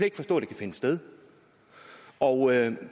ikke forstå det kan finde sted og